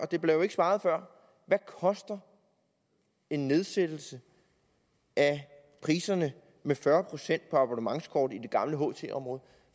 der blev ikke svaret før hvad koster en nedsættelse af priserne med fyrre procent på abonnementskort i det gamle ht område